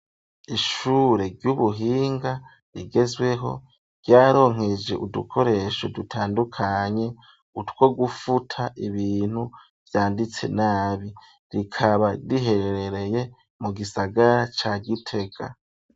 Ishure ry'ubuhinga rigezweho, ryaronkejwe udukoresho dutandukanye, utwo gufuta ibintu vyanditse nabi. Rikaba riherereye mu gisagara ca Gitega.